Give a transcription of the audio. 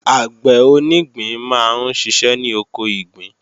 Àgbẹ̀ onígbín máa ń ṣiṣẹ́ ní oko ìgbín